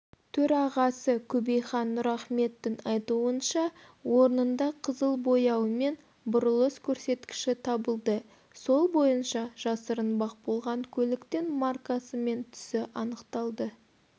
төрағасы көбейхан нұрахметтің айтуынша орнында қызыл бояу мен бұрылыс көрсеткіші табылды сол бойынша жасырынбақ болған көліктің маркасы мен түсі анықталды